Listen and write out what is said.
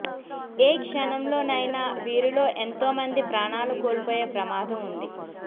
ఏ క్షణంలోనైనా వీరిలో ఎంతో మంది ప్రాణాలు కోల్పోయే ప్రమాదం ఉంది